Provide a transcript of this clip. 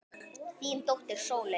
Þín dóttir Sóley.